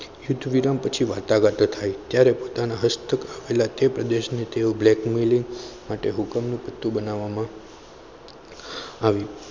યુદ્ધ વિરામ પછી વાટાઘાટો થાય ત્યારે પોતાના હસ્તક થયેલા તે પ્રદેશને તેઓ blackmailing અને હુકમનું પત્તું બનાવવામાં આવ્યું.